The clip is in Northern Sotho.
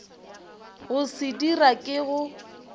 go se dira ke go